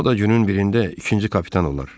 O da günün birində ikinci kapitan olar.